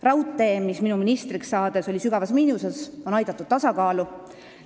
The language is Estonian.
Raudtee, mis minu ministriks saades oli sügavas miinuses, on aidatud tasakaalu.